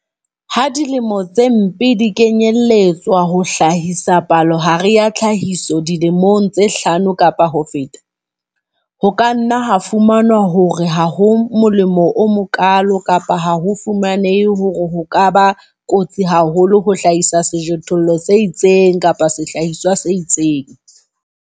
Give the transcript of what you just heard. Ha dilemo tse mpe di kenyelletswa ho hlahisa palohare ya tlhahiso dilemong tse hlano kapa ho feta, ho ka nna ha fumanwa hore ha ho molemo o mokaalo kapa ha ho fumanehe hore ho ka ba kotsi haholo ho hlahisa sejothollo se itseng kapa sehlahiswa se itseng.